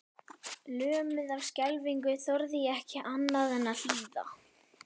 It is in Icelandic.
Lömuð af skelfingu þorði ég ekki annað en að hlýða.